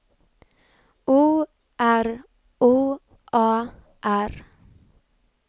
O R O A R